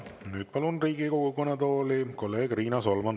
Ja nüüd palun Riigikogu kõnetooli kolleeg Riina Solmani.